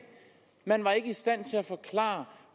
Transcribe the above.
man var ikke i stand til at forklare